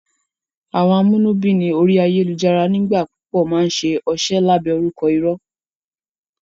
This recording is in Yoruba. Àwọn amúnúbíni orí ayélùjára nígbà púpọ̀ máa n ṣe ọṣẹ́ lábẹ́ orúkọ irọ́